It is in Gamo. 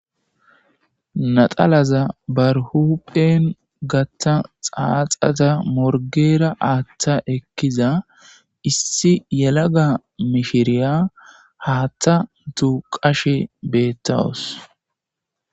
naxalaza barhupphen gatta xaaxata morgeera aaththa ekkiza issi yelaga mishiriya haatta duuqashe beettawus